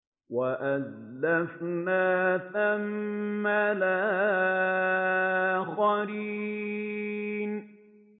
وَأَزْلَفْنَا ثَمَّ الْآخَرِينَ